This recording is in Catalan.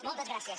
moltes gràcies